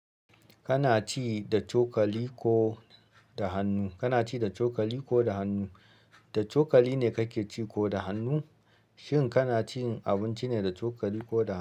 Kana ci da cokali ko da hannu? Kana ci da cokali ko da hannu? Da cokali ne kake ci ko da hannu? Shin kanacin abinci ne da chokali koda hannu.